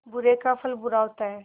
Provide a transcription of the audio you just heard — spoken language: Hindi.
बुरे का फल बुरा होता है